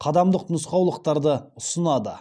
қадамдық нұсқаулықтарды ұсынады